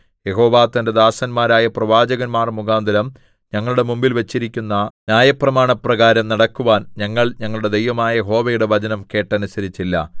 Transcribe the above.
യഹോവ തന്റെ ദാസന്മാരായ പ്രവാചകന്മാർ മുഖാന്തരം ഞങ്ങളുടെ മുമ്പിൽ വച്ചിരിക്കുന്ന ന്യായപ്രമാണപ്രകാരം നടക്കുവാൻ ഞങ്ങൾ ഞങ്ങളുടെ ദൈവമായ യഹോവയുടെ വചനം കേട്ടനുസരിച്ചില്ല